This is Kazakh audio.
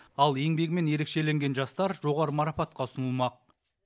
ал еңбегімен ерекшеленген жастар жоғары марапатқа ұсынылмақ